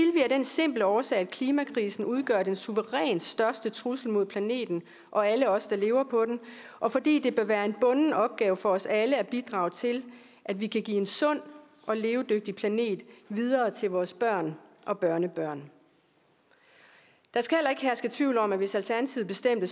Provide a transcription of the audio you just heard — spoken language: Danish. den simple årsag at klimakrisen udgør den suverænt største trussel mod planeten og alle os der lever på den og fordi det vil være en bunden opgave for os alle at bidrage til at vi kan give en sund og levedygtig planet videre til vores børn og børnebørn der skal heller ikke herske tvivl om at hvis alternativet bestemte